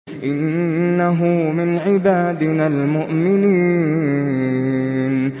إِنَّهُ مِنْ عِبَادِنَا الْمُؤْمِنِينَ